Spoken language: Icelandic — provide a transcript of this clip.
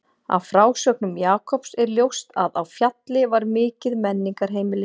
Af frásögnum Jakobs er ljóst að á Fjalli var mikið menningarheimili.